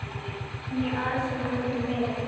Né aðsókn öllu meiri.